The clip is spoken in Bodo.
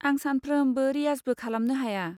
आं सानफ्रोमबो रियाजबो खालामनो हाया।